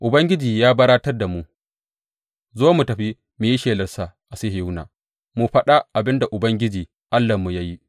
Ubangiji ya baratar da mu; zo mu tafi mu yi shelarsa a Sihiyona mu faɗa abin da Ubangiji Allahnmu ya yi.’